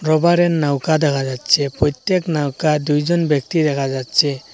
রবারের নৌকা দেখা যাচ্ছে প্রত্যেক নৌকা দুইজন ব্যক্তি দেখা যাচ্ছে।